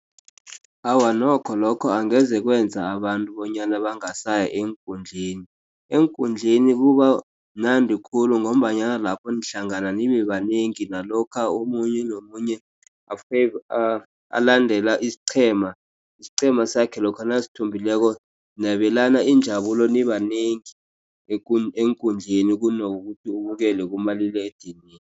Awa nokho, lokho angeze kwenza abantu bonyana bangasaya eenkundleni. Eenkundleni kubamnandi khulu ngombanyana lapho nihlangana nibe banengi nalokha omunye nomunye alandela isiqhema. Isiqhema sakhe lokha nasithumbileko nabelana injabulo nibanengi eenkundleni kunokuthi ubukele kumaliledinini.